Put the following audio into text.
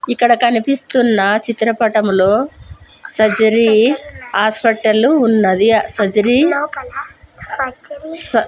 ఇక్కడ కనిపిస్తున్న చిత్రపటంలో సర్జరీ హాస్పటల్ ఉన్నది సర్జరీ స--